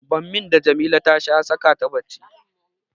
Bammin da Jamila ta sha ya saka ta bacci.